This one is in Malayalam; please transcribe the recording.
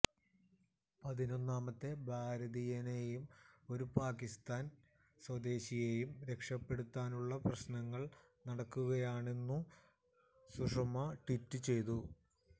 പതിനൊന്നമത്തെ ഭാരതീയനെയും ഒരു പാകിസ്ഥാന് സ്വദേശിയെയും രക്ഷപ്പെടുത്താനുള്ള ശ്രമങ്ങള് നടക്കുകയാണെന്നും സുഷമ ട്വീറ്റ് ചെയ്തു